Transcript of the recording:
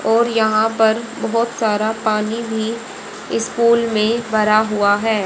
और यहां पर बहोत सारा पानी भी स्कूल में भरा हुआ है।